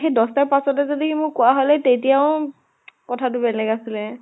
দ্শ টা পাঁছতে যদি মোক কোৱা হলে তেতিয়াও কথাটো বেলেগ আছিলে।